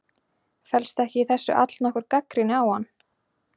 Felst ekki í þessu allnokkur gagnrýni á hann?